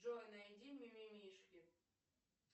джой найди мимимишки